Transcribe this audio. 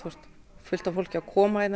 fullt af fólki að koma hérna